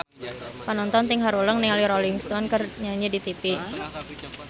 Panonton ting haruleng ningali Rolling Stone keur nyanyi di tipi